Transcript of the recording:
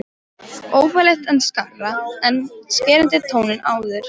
Óþægilegt en skárra en skerandi tónninn áður.